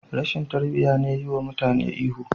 Rashin tarbiya ne yiwa mutane ihu..